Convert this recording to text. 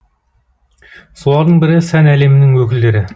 солардың бірі сән әлемінің өкілдері